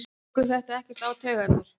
Tekur þetta ekkert á taugarnar?